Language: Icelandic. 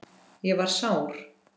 Ég var sár.